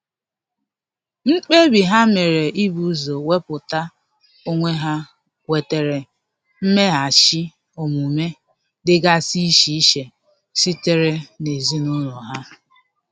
Mkpebi ha mere ibu ụzọ wepụta onwe ha nwetara mmeghachi omume dịgasi iche iche sitere n'ezinụlọ ha.